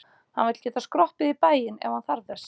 Hann vill geta skroppið í bæinn ef hann þarf þess með.